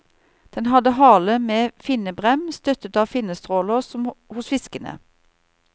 Den hadde hale med finnebrem, støttet av finnestråler som hos fiskene.